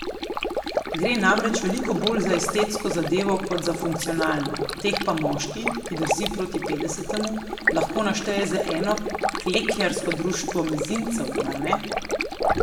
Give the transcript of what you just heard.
Gre namreč veliko bolj za estetsko zadevo kot za funkcionalno, teh pa moški, ki drsi proti petdesetemu, lahko našteje za eno klekljarsko društvo mezincev, mar ne?